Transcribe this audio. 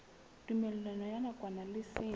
tumellano ya nakwana le seng